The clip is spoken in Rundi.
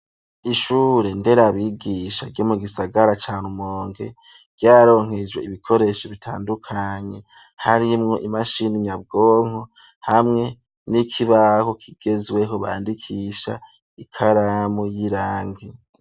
Ishure ndera bigisha ryo mu gisagara cane Rumonge ryaronkejwe ibikoresho bitandukanye harimwo imashini nyabwonko hamwe n'ikibaho kigezweho bandikisha ikaramu y'irangi